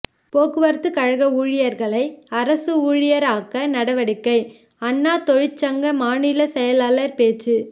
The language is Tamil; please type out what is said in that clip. போக்குவரத்து கழக ஊழியர்களை அரசு ஊழியராக்க நடவடிக்கை அண்ணா தொழிற்சங்க மாநில செயலாளர் பேச்சு